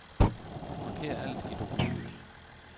Marker alt i dokumentet.